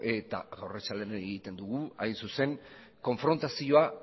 arratsaldean egiten dugu hain zuzen konfrontazioa